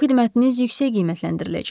Bu xidmətiniz yüksək qiymətləndiriləcək.